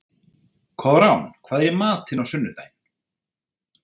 Koðrán, hvað er í matinn á sunnudaginn?